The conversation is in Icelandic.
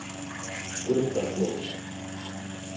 Grundarslóð